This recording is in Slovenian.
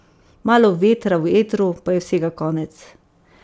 Malo vetra v etru, pa je vsega konec.